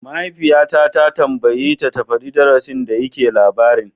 Mama ta tambayeta ta faɗi darasin da yake labarin!